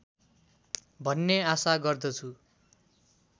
भन्ने आशा गर्दछु